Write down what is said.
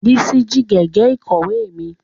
Bísí jí gègé ìkọ̀wé mi